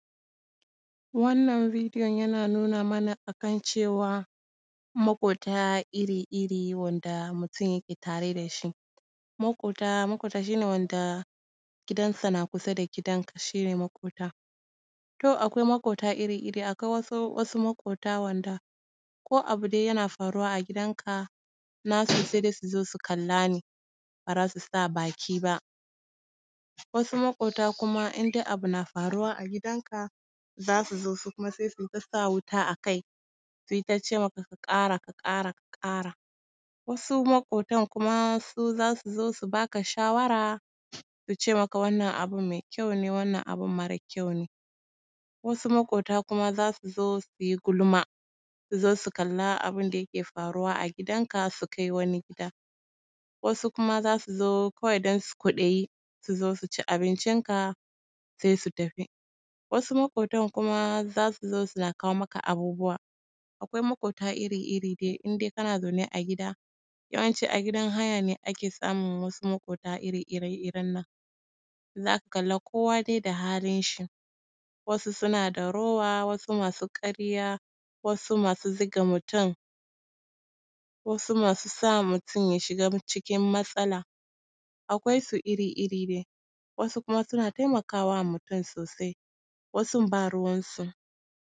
Wannan videon yana nuna mana a kan cewa moƙota iri-iri wanda mutum yake tare da shi. Maƙota, moƙota shi ne wanda gidansa na kusa da gidanka shi ne maƙota. To akwai maƙota iri-iri, awai wasu, wasu maƙota wanda ko abu dai yana faruwa a gidanka, nasu sai dai su zo, su kalla ne, ba za su sa baki ba. Wasu maƙota kuma in dai abu na faruwa a gidanka, za su zo, su kuma sai su yi ta sa wuta a kai, su yi ta ce maka, ka ƙara, ka ƙara, ka ƙara. Wasu maƙotan kuma, su za su zo, su ba ka shawara, su ce maka wannan abin mai kyau ne, wannan abin mara kyau ne. Wasu maƙota kuma za su zo, su yi gulma, su zo, su kalla abin da yake faruwa a gidanka, su kai wani gida. Wasu kuma za su zo kawai don kwaɗayi, su zo, su ci abincinka sai su tafi. Wasu maƙotan kuma za su zo, suna kawo maka abubuwa. Akwai maƙota iri-iri dai, in dai kana zaune a gida, yawanci a gidan haya ne ake samun wasu maƙota ire-iren nan. Za ka kalli dai kowa da halinshi: wasu suna da rowa, wasu masu ƙarya, wasu masu zuga mutum, wasu masu sa mutum ya shiga cikin matsala. Akwai su iri-iri dai, wasu kuma suna taimaka ma mutum sosai, wasun ba ruwansu.